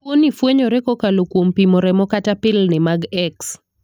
Tuo ni fwenyore kokalo kuom pimo remo kata pilni mag X.